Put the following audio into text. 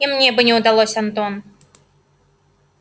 и мне бы не удалось антон